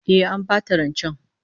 Eh, An bata rancen